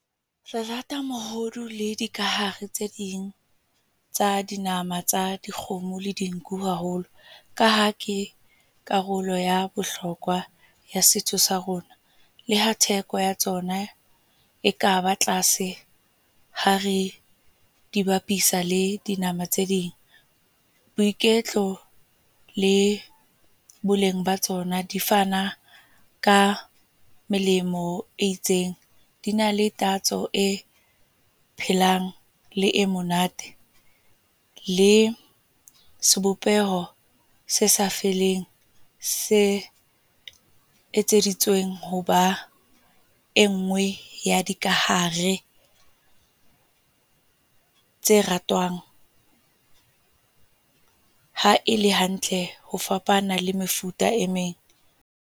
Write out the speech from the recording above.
Re rata mohodu le dikahare tse ding, tsa dinama tsa dikgomo le dinku haholo. Ka ha ke karolo ya bohlokwa setso sa rona. Le ha theko ya tsona e kaba tlase, ha re dibapisa le dinama tse ding. Boiketlo le boleng ba tsona di fana ka melemo e itseng. Di na le tatso e phelang, le e monate. Le sebopeho se sa feleng, se etseditsweng ho ba e nngwe ya dikahare, tse ratwang. Ha e le hantle ho fapana le mefuta e meng.